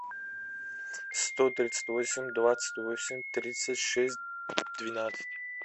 сто тридцать восемь двадцать восемь тридцать шесть двенадцать